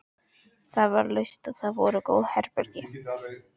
Það var laust og þar voru góð herbergi.